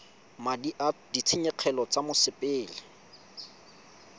madi a ditshenyegelo tsa mosepele